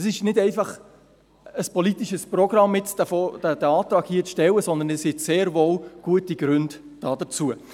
Es ist nicht einfach ein politisches Programm, jetzt diesen Antrag zu stellen, sondern es gibt sehr wohl gute Gründe dafür.